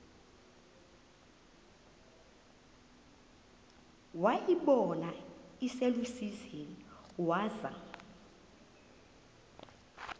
wayibona iselusizini waza